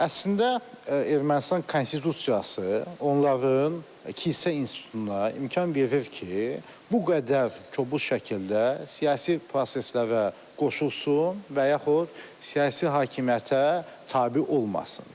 Əslində Ermənistan Konstitusiyası onların kilsə institutuna imkan verir ki, bu qədər kobud şəkildə siyasi proseslərə qoşulsun və yaxud siyasi hakimiyyətə tabe olmasın.